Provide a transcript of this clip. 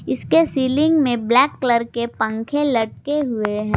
इसके सीलिंग में black colour के पंख लटके हुए हैं।